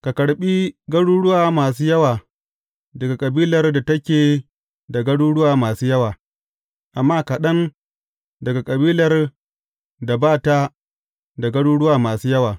Ka karɓi garuruwa masu yawa daga kabilar da take da garuruwa masu yawa, amma kaɗan daga kabilar da ba ta da garuruwa masu yawa.